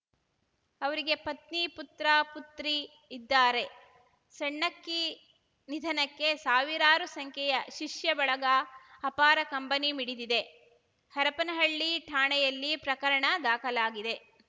ಅವರಿಗೆ ಪತ್ನಿ ಪುತ್ರ ಪುತ್ರಿ ಇದ್ದಾರೆ ಸಣ್ಣಕ್ಕಿ ನಿಧನಕ್ಕೆ ಸಾವಿರಾರು ಸಂಖ್ಯೆಯ ಶಿಷ್ಯ ಬಳಗ ಅಪಾರ ಕಂಬನಿ ಮಿಡಿದಿದೆ ಹರಪನಹಳ್ಳಿ ಠಾಣೆಯಲ್ಲಿ ಪ್ರಕರಣ ದಾಖಲಾಗಿದೆ